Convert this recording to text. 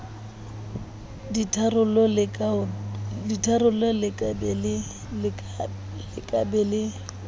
ditharollo le ka be le